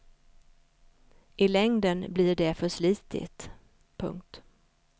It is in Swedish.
I längden blir det för slitigt. punkt